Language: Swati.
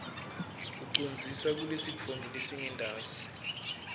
ucondzise kulesitfombe lesingentasi